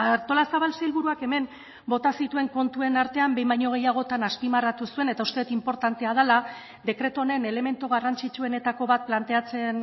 artolazabal sailburuak hemen bota zituen kontuen artean behin baino gehiagotan azpimarratu zuen eta uste dut inportantea dela dekretu honen elementu garrantzitsuenetako bat planteatzen